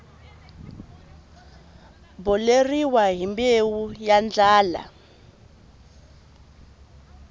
boleriwa hi mbewu ya ndlala